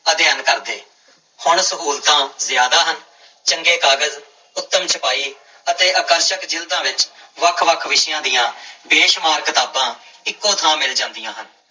ਅਧਿਐਨ ਕਰਦੇ, ਹੁਣ ਸਹੂਲਤਾਂ ਜ਼ਿਆਦਾ ਹਨ, ਚੰਗੇ ਕਾਗਜ਼ ਉਤਮ ਛਪਾਈ ਅਤੇ ਆਕਰਸ਼ਕ ਜ਼ਿਲਦਾਂ ਵਿੱਚ ਵੱਖ ਵੱਖ ਵਿਸ਼ਿਆਂ ਦੀ ਬੇਸ਼ੁਮਾਰ ਕਿਤਾਬਾਂ ਇੱਕੋ ਥਾਂ ਮਿਲ ਜਾਂਦੀਆਂ ਹਨ।